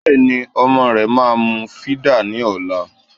Bẹ́ẹ̀ ni ọmọ rẹ máa mu fídà ní ọ̀la